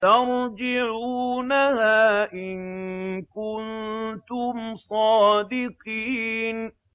تَرْجِعُونَهَا إِن كُنتُمْ صَادِقِينَ